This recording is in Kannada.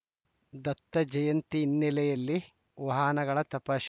ದತ್ತಜಯಂತಿ ಹಿನ್ನೆಲೆಯಲ್ಲಿ ವಾಹನಗಳ ತಪಾಶ್